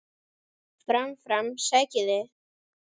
Fram, fram, sækið þið!